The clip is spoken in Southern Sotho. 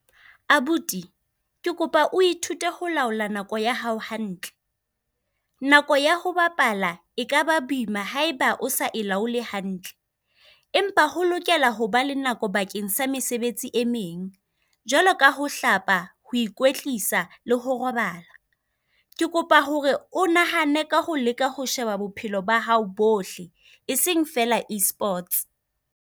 Abuti ke kopa o ithute ho laola nako ya hao hantle. Nako ya ho bapala e ka ba boima haeba o sa e laole hantle. Empa ho lokela ho ba le nako bakeng sa mesebetsi e meng, jwalo ka ho hlapa, ho ikwetlisa, le ho robala. Ke kopa hore o nahane ka ho leka ho sheba bophelo ba hao bohle, e seng feela Esports.